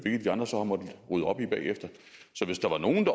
vi andre så har måttet rydde op i bagefter hvis der var nogen